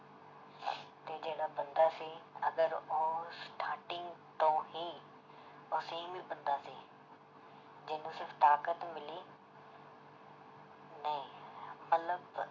ਤੇ ਜਿਹੜਾ ਬੰਦਾ ਸੀ ਅਗਰ ਉਹ starting ਤੋਂ ਹੀ ਉਹ same ਹੀ ਬੰਦਾ ਸੀ ਜਿਹਨੂੰ ਸਿਰਫ਼ ਤਾਕਤ ਮਿਲੀ ਨਹੀਂ ਮਤਲਬ